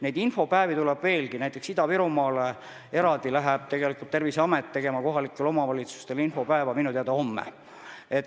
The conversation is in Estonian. Neid infopäevi tuleb veelgi, näiteks Terviseamet läheb minu teada homme Ida-Virumaale kohalikele omavalitsustele eraldi infopäeva tegema.